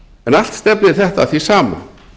en allt stefnir þetta að því sama